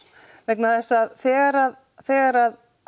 vegna þess að þegar þegar